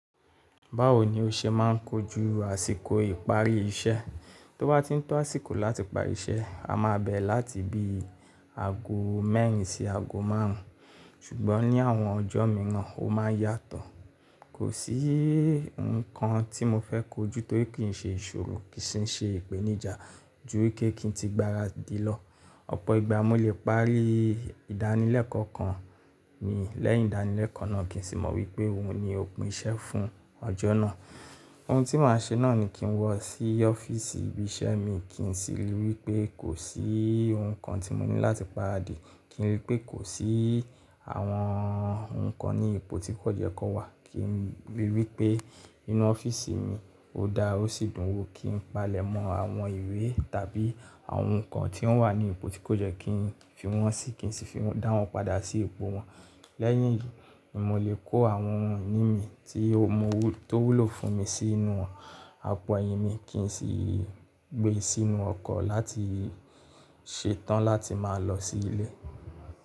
Báwo ni o ṣe máà ń kojú àsìkò ìparí iṣẹ́? Tó bá ti ń tọ́ àsìkò láti parí iṣẹ́, a máa bẹ̀ láti bí i ago mẹ́rin sí ago márùn ún ṣùgbọ́n ní àwọn ọjọ́ mìíràn ó máa ń yàtọ̀. Kò sí ǹnkan tí mo fẹ́ kojú torí kì í ṣe ìṣòro kì í sì ṣe ìpèníjà ju kí n ti gba adé lọ. Ọ̀pọ̀ ìgbà mo lè parí ìdánilẹ́kọ̀ọ́ kan ni lẹ́yìn ìdánilẹ́kọ̀ọ́ náà kì í sì mọ wípé òhun ni òpin iṣẹ́ fún ọjọ́ náà. Òhun tí màá ṣe náà ni kí n wọ̀ sí ọ́fíísì ibi iṣẹ́ mi kí n sì ríi wípé kò sí nǹkan tí mo ní láti pa adé, kí n ríi pé kò sí àwọn ǹnkan ní ipò tí kò ye kó wà, kí n ríi wípé inú ọ́fíísì mi ò dára ó sì dùn wò kí n palẹ̀mọ́ àwọn ìwé tàbí àwọn ǹnkan tí wọ́n wà ní ipò tí kò yẹ́ kí n fi wọ́n sí kì í sì fi dá wọn padà sí ipò wọn. Lẹ́yìn èyí ni mo lè kó àwọn ohun iní mi tí ó wúlò fún mi sínú àpò ẹyin mi kí n sì gbé e sínú ọkọ̀ láti ṣetán láti máa lọ sí ilé.